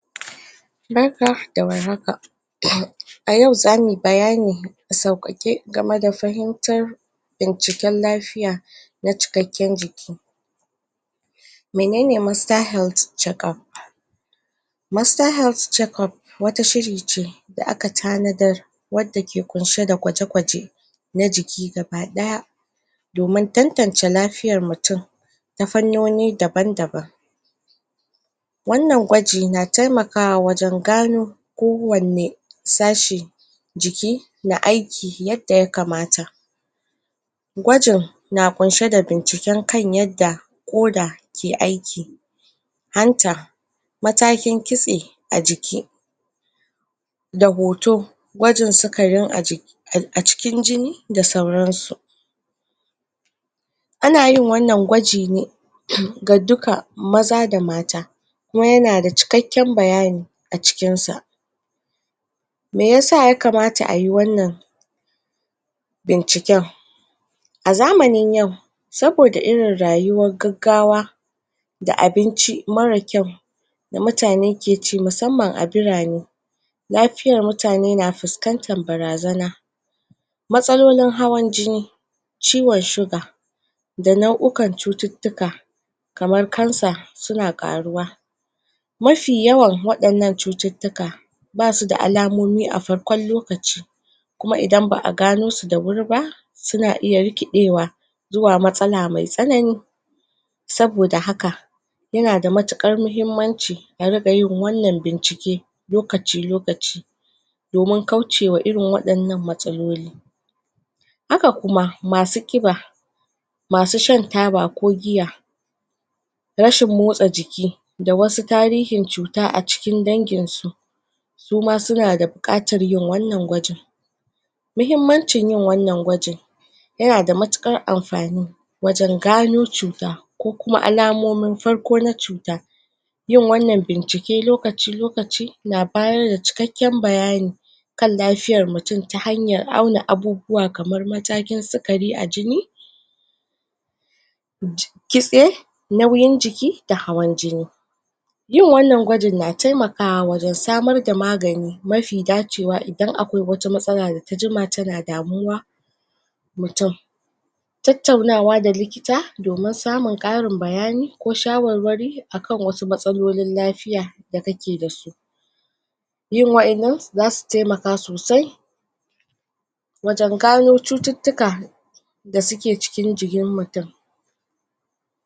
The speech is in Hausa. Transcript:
barka da war haka a yau zamuyi bayani a sauƙaƙe game da fahimtar binciken lafiya na cikakƙan jiki menene master heath check up master health check up wata shiri ce da aka tanadar wadda ke kunshe da da gwaje gwaje na jiki gaba ɗaya domin tantance lafiyar mutun ta fannoni daban daban wannan gwaji na taimakawa wajan gano ko wanne sashe jiki na aiki yadda ya kamata gwajin na kunshe da binciken yadda ƙuda ke aikii hanta matakin kitse a jiki da hoto gwajin sikarin a cikin jini da sauransu anayin wannan gwaji ne ga duka maza da mata kuma yana da cikakƙin bayani a cikinsa meyasa ya kamata ayi wannan binci kyan a zamanin yau saboda irin rayuwar gaggawa da abinci mara kyau da mutane ke ci musamman a birane lafiyar mutane na fuskantan barazana matsalolin hawan jini ciwan sugar da nau'ikan cututtuka kamar cancer suna ƙaruwa mafi yawan waɗannan cututtuk basuda alamomi a farkon lokaci kuma idan ba a gano su da wuri ba suna iya rikeɗewa zuwa matsala mai tsanani saboda haka yana da matuƙar mahimmanci a riƙa yin wannan bincike lokaci lokaci domin kaucewa irin waɗannan matsaloli haka kuma masu ƙiba masu shan taba ko giya rashin motsa jiki da wasu tarihin cuta a cikin danginsu suma suna da buƙatar yin wannan gwajin muhimmancin yin wannan gwajin yana da mutuƙar amfani wajan gano cuta ko kuma alamomin farko na cuta yin wannan bincike lokaci lokaci na bayar da cikakkyan bayani kan lafiyar mutun ta hanyar auna abubuwa kamar matakin sukari a jini kitse nauyin jiki da hawan jini yin wannan gwajin na taimakawa wajan samar da magani mafi dacewa idan aƙwai wata matsala da ta jima tana damuwa mutun tattaunawa da likita domin samun ƙarin bayani ko shawarwari akan wasu matsalolin lafiya da kake dasu yin wa innan zasu taimaka sosai wajan gano cututtuka da suke cikin jikin mutun